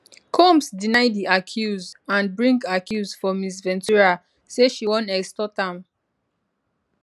combs deny di accuse and bring accuse for ms ventura say she wan extort am